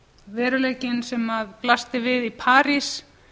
veruleikinn sem blasti við í parís